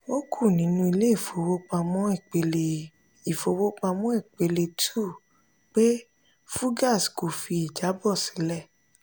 ó kù nínú ilé ìfowópamọ́ ìpele ìfowópamọ́ ìpele 2 pé fugaz kò fi ìjábọ̀ sílẹ̀.